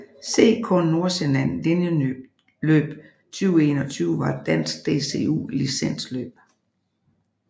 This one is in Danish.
CK Nordsjælland Linjeløb 2021 var et dansk DCU licensløb